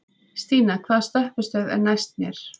Stína, hvaða stoppistöð er næst mér?